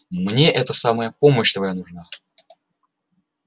мне это самое помощь твоя нужна